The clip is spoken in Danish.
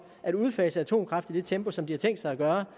at udfase atomkraft i det tempo som de har tænkt sig at gøre